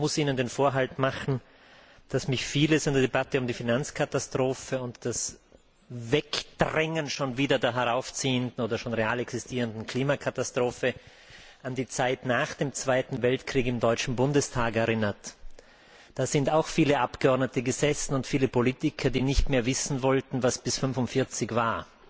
Ich muss Ihnen den Vorhalt machen, dass mich vieles in der Debatte um die Finanzkatastrophe und das Wegdrängen der heraufziehenden oder der schon real existierenden Klimakatastrophe an die Zeit nach dem Zweiten Weltkrieg im deutschen Bundestag erinnert. Da sind auch viele Abgeordnete und viele Politiker gesessen, die nicht mehr wissen wollten, was bis 1945 war.